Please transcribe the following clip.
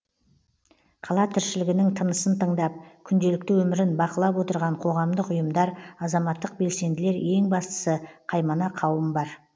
қала тіршілігінің тынысын тыңдап күнделікті өмірін бақылап отырған қоғамдық ұйымдар азаматтық белсенділер ең бастысы қаймана қауым бар